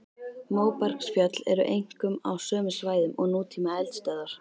Móbergsfjöll eru einkum á sömu svæðum og nútíma eldstöðvar.